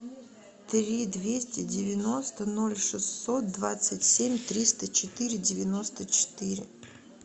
три двести девяносто ноль шестьсот двадцать семь триста четыре девяносто четыре